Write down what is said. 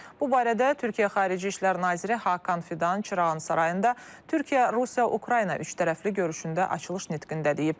Bu barədə Türkiyə Xarici İşlər naziri Hakan Fidan Çırağan Sarayında Türkiyə, Rusiya, Ukrayna üçtərəfli görüşündə açılış nitqində deyib.